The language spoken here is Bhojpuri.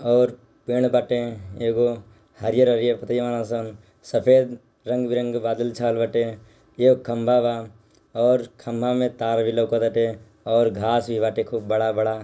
ओर पेड़ बाटे एगो हरियर हरियर पत्तीया बाड़ा सन सफेद रंग बी रंगे बदल छाएल बटे येह खम्बा बा ओर खंबे मे तार भी लउकत बटे और घास भी बाटे खूब बड़ा बड़ा।